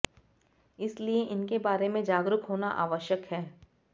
इसलिये इनके बारे में जागरूक होना आवश्यक है